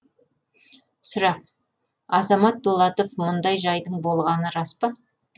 сұрақ азамат дулатов мұндай жайдың болғаны рас па